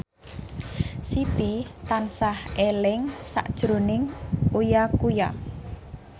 Siti tansah eling sakjroning Uya Kuya